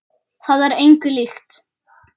Það er engu líkt.